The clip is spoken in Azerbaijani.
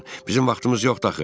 Bizim vaxtımız yoxdur axı.